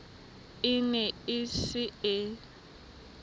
e ne e se e